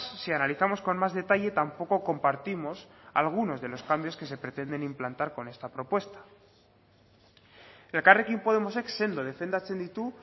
si analizamos con más detalle tampoco compartimos algunos de los cambios que se pretenden implantar con esta propuesta elkarrekin podemosek sendo defendatzen ditu